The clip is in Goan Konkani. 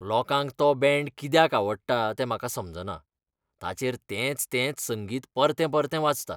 लोकांक तो बँड कित्याक आवडटा तें म्हाका समजना. ताचेर तेंच तेंच संगीत परतें परतें वाजता.